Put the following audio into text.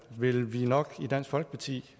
vil vi nok i dansk folkeparti